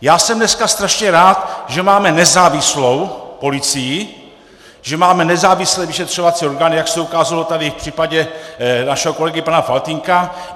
Já jsem dneska strašně rád, že máme nezávislou policii, že máme nezávislé vyšetřovací orgány, jak se ukázalo tady v případě našeho kolegy pana Faltýnka.